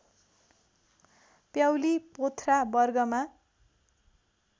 प्याउली पोथ्रा वर्गमा